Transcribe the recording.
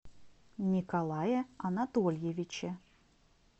николае анатольевиче